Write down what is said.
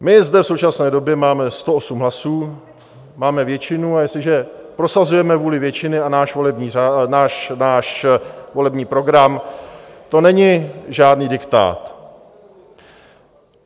My zde v současné době máme 108 hlasů, máme většinu, a jestliže prosazujeme vůli většiny a náš volební program, to není žádný diktát.